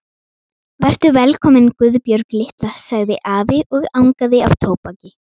Vertu velkomin Guðbjörg litla, sagði afi og angaði af tóbaki.